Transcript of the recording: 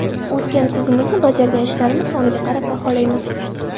O‘tgan kunimizni bajargan ishlarimiz soniga qarab baholaymiz.